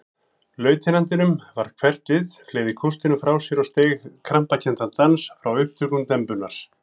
Lautinantinum varð hverft við, fleygði kústinum frá sér og steig krampakenndan dans frá upptökum dembunnar.